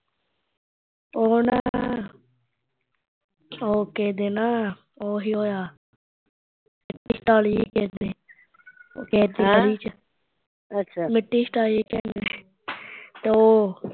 ਉਹ ਨਾ ਉਹ ਕਿਸੇ ਦੇ ਨਾ, ਉਹ ਸੀ ਹੋਇਆ ਸੀ ਕਿਸੇ ਦੇ ਕਿਸੇ ਦੀ ਗਲੀ ਚ ਮਿੱਟੀ ਸਿਟਾਈ ਸੀ ਕਿਸੇ ਨੇ ਉਹ